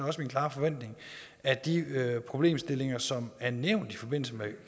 også min klare forventning at de problemstillinger som er nævnt i forbindelse med